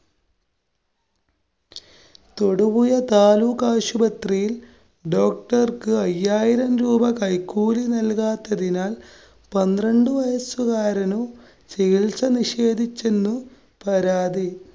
തൊടുപുഴ താലൂക്കാശുപത്രിയില്‍, doctor ക്ക് അയ്യായിരം രൂപ കൈക്കൂലി നല്‍കാത്തതിനാല്‍ പന്ത്രണ്ടു വയസ്സുകാരനു ചികിത്സ നിഷേധിച്ചെന്നു പരാതി.